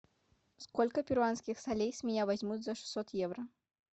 сколько перуанских солей с меня возьмут за шестьсот евро